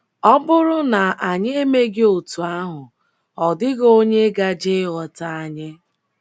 Ọ bụrụ na anyị emeghị otú ahụ, ọ dịghị onye gaje ịghọta anyị. ”